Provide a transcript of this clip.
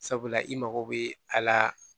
Sabula i mago bɛ a la